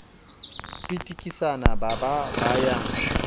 pitikisana ba ba ba ya